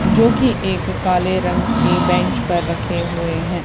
जोकि एक काले रंग के बेंच पर रखे हुए हैं।